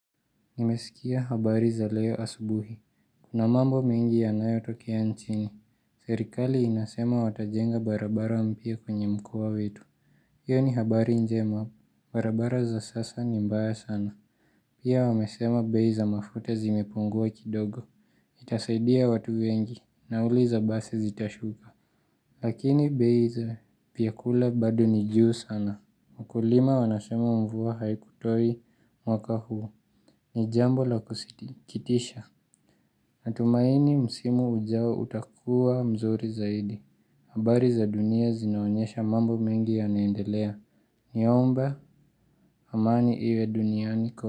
Nimesikia habari za leo asubuhi. Kuna mambo mengi yanayo tokea nchini Serikali inasema watajenga barabara mpya kwenye mkoa wetu iyo ni habari njema barabara za sasa ni mbaya sana pia wamesema bei za mafuta zimepungua kidogo Itasaidia watu wengi nauli za basi zitashuka lakini bei za vyakula bado ni juu sana wakulima wanasema mvua haikutoi mwaka huo ni jambo la kusitikitisha natumaini msimu ujao utakua mzuri zaidi habari za dunia zinaonyesha mambo mengi yanaendelea naomba amani iwe duniani kote.